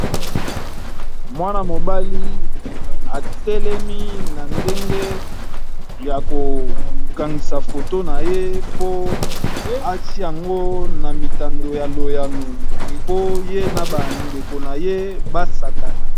Mwana mobali atelemi na ndenge ya kokangisa foto na ye po atia yango na mitando ya loyano po ye na bandeko na ye basakana.